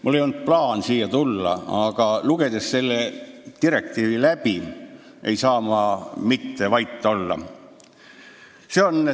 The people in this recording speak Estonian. Mul ei olnud plaanis siia tulla, aga selle direktiivi läbilugenuna ei saa ma mitte vait olla.